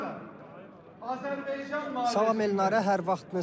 Salam Elnarə, hər vaxtınız xeyir.